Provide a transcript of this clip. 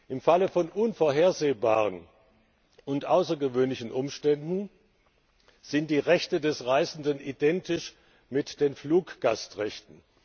Im Falle von unvorhersehbaren und außergewöhnlichen Umständen sind die Rechte des Reisenden identisch mit den Fluggastrechten.